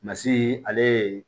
Masi ale ye